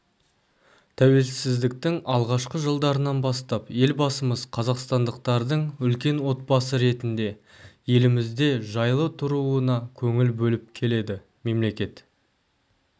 тәуелсіздіктің алғашқы жылдарынан бастап елбасымыз қазақстандықтардың үлкен отбасы ретінде елімізде жайлы тұруына көңіл бөліп келеді мемлекет